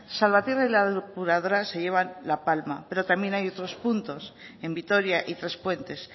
salvatierra y la depuradora se llevan la palma pero también hay otros puntos en vitoria y trespuestes